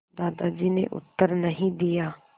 दादाजी ने उत्तर नहीं दिया